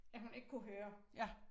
At hun ikke kunne høre